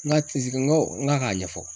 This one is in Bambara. N ka n ko, n k'a ɲɛfɔ